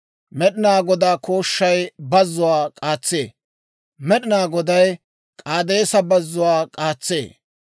Med'inaa Godaa kooshshay bazzuwaa k'aatsee; Med'inaa Goday K'aadeesa Bazzuwaa k'aatsee.